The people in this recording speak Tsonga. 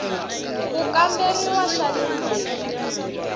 ku kamberiwa swa le ndzeni